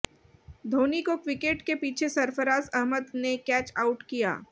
धौनी को विकेट के पीछे सरफराज अहमद ने कैच आउट किया